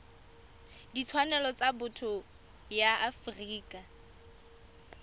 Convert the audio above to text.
ditshwanelo tsa botho ya afrika